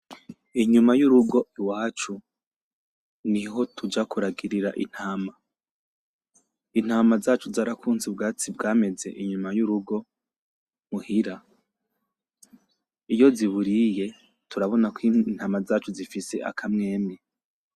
Inyuma y'urugo iwacu niho tuja kuragirira intama, intama zacu zarakunze ubwatsi bwameze inyuma y'urugo muhira iyo ziburiye turabona ko intama zacu zifise akamwemwe.